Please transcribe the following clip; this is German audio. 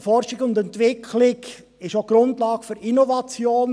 Forschung und Entwicklung ist auch Grundlage für Innovation.